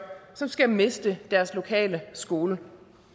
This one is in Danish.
som skal miste deres lokale skole